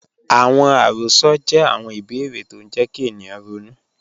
Awọn àròs̩ọ jẹ̀ awọn ìbèèrè̀ tó ń jẹ̀ kí ènìyàn rọ̀nú.